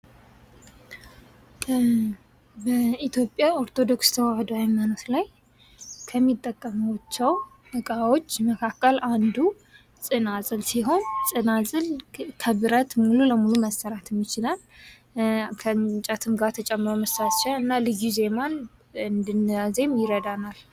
በኢትዮጵያ ኦርቶዶክስ ተዋህዶ ሀይማኖት ላይ ከሚጠቀሟቸው ዕቃዎች መካከል አንዱ ጽናጽል ሲሆን ጽናጽል ከብረት ሙሉ ለሙሉ መሠረት ይችላል። ከእንጨትም ጋ ተጨምሮ ይሰራል እና ልዩ ዜማን እንድናዜም ይረዳናል።